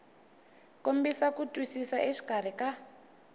kombisa ku twisisa exikarhi ka